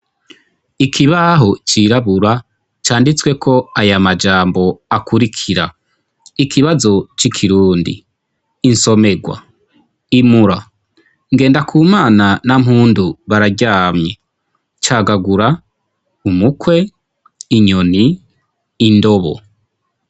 Ikibaho cirabura canditsweko aya majambo akurikira: ikibazo c'ikirundi, insomegwa, imura, Ngendakumana na Mpundu bararyamye, cagagura, umukwe, inyoni, indobo.